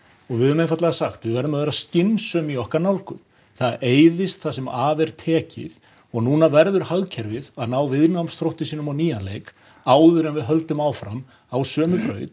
og við höfum einfaldlega sagt við verðum að vera skynsöm í okkar nálgun það eyðist það sem af er tekið og núna verður hagkerfið að ná viðnámsþrótti sínum á nýjann leik áður en við höldum áfram á sömu braut